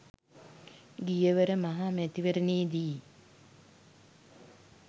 ගියවර මහ මැතිවරණයේදී